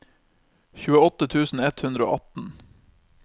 tjueåtte tusen ett hundre og atten